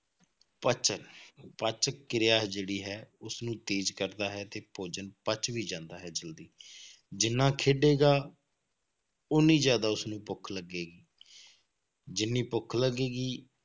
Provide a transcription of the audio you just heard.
ਪਚ ਜਾਵੇ ਪਚ ਕਿਰਿਆ ਜਿਹੜੀ ਹੈ, ਉਸਨੂੰ ਤੇਜ਼ ਕਰਦਾ ਹੈ ਤੇ ਭੋਜਨ ਪਚ ਵੀ ਜਾਂਦਾ ਹੈ ਜ਼ਲਦੀ ਜਿੰਨਾ ਖੇਡੇਗਾ, ਓਨੀ ਜ਼ਿਆਦਾ ਉਸਨੂੰ ਭੁੱਖ ਲੱਗੇਗੀ ਜਿੰਨੀ ਭੁੱਖ ਲੱਗੇਗੀ,